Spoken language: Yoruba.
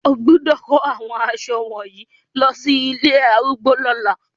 O gbọ́dọ̀ kó àwọn aṣọ wọ̀nyí lọsí ilé àwọn arúgbó lọ́la.